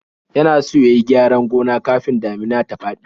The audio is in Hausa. Yana so ya yi gyaran gona kafin damina ta faɗi.